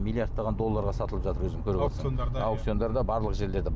миллиардтаған долларға сатылып жатыр өзің көріп отырсың аукциондарда барлық жерлерде